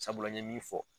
Sabula n ye min fɔ